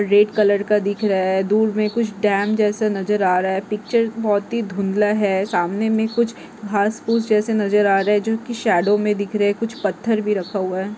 Red colour का दिख रहा है धूर मे कुछ डॅम जैसे नज़र आ रहा है पिक्चर बहुत ही धुंधला है सामने मे कुछ घास घुस जैसे नज़र आ रहे जोकी शाडो मे दिख रहे कुछ पत्थर भी रखा हुआ है।